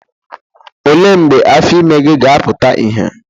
Olee mgbe afọ ime gị ga-afụta ihe?